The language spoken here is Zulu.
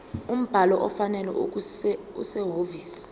umbhalo ofanele okusehhovisi